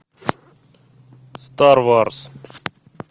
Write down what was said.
стар варс